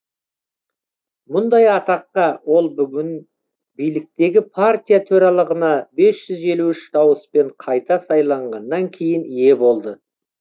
мұндай атаққа ол бүгін биліктегі партия төрағалығына бес жүз елі үш дауыспен қайта сайланғаннан кейін ие болды